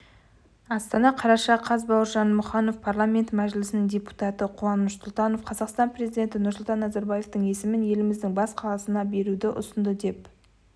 астана қараша қаз бауыржан мұқанов парламенті мәжілісінің депутаты қуаныш сұлтанов қазақстан президенті нұрсұлтан назарбевтың есімін еліміздің бас қаласына беруді ұсынды деп